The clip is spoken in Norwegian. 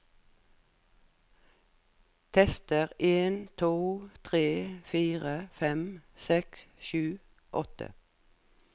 Tester en to tre fire fem seks sju åtte